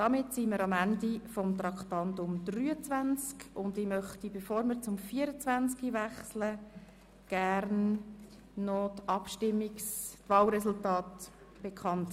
Damit sind wir am Ende dieses Traktandums angelangt und ich gebe nun die Wahlresultate bekannt.